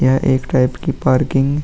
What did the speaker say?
यह एक टाइप की पार्किंग --